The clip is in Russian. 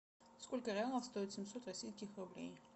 сколько реалов стоит семьсот российских рублей